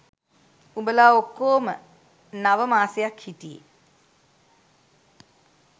උඹලා ඔක්කෝම නව මාසයක් හිටියෙ.